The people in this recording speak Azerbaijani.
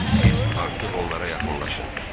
Siz artıq onlara yaxınlaşın.